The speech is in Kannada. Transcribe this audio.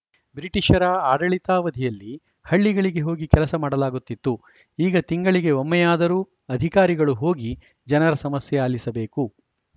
ಬ್ರಿಟಿಷರ ಆಡಳಿತಾವಧಿಯಲ್ಲಿ ಹಳ್ಳಿಗಳಿಗೆ ಹೋಗಿ ಕೆಲಸ ಮಾಡಲಾಗುತ್ತಿತ್ತು ಈಗ ತಿಂಗಳಿಗೆ ಒಮ್ಮೆಯಾದರೂ ಅಧಿಕಾರಿಗಳು ಹೋಗಿ ಜನರ ಸಮಸ್ಯೆ ಆಲಿಸಬೇಕು